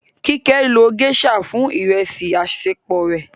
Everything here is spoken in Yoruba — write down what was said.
Kíké ló geisha fún ìrẹsì àṣẹpò rẹ.